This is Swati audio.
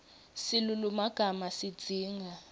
silulumagama sidzinga